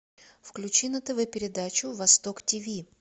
включи на тв передачу восток тв